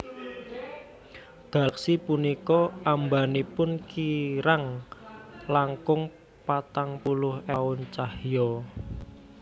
Galaksi punika ambanipun kirang langkung patang puluh ewu taun cahya